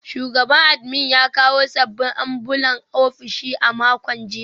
Shugaban admin ya kawo sabbin ambulan ofishin a makon jiya